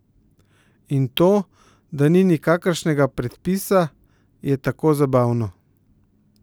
In to, da ni nikakršnega predpisa, je tako zabavno.